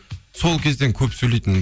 сол кезден көп сөйлейтінмін